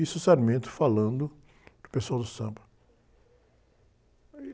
Isso o falando para o pessoal do samba. Aí...